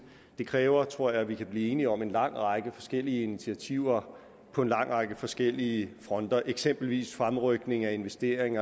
det kræver tror jeg at vi kan blive enige om en lang række forskellige initiativer på en lang række forskellige fronter eksempelvis fremrykning af investering